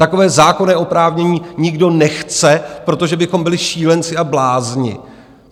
Takové zákonné oprávnění nikdo nechce, protože bychom byli šílenci a blázni.